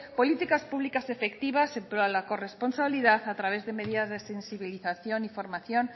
políticas públicas efectivas para la corresponsabilidad a través de medidas de sensibilización y formación